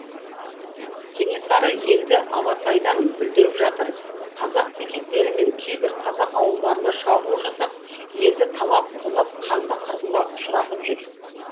кенесары елді алатайдан бүлдіріп жатыр казак бекеттері мен кейбір қазақ ауылдарына шабуыл жасап елді талап тонап қанды қырғынға ұшыратып жүр